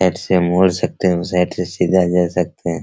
Right से मोड़ सकते हैं और साइड से सीधा जा सकते हैं।